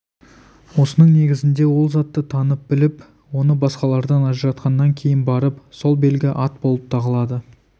осының негізінде ол затты танып біліп оны басқалардан ажыратқаннан кейін барып сол белгі ат болып тағылады